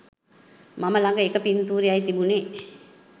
මම ළඟ එක පින්තූරයයි තිබුණෙ.